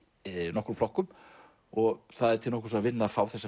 nokkrum flokkum og það er til nokkurs að vinna að fá þessa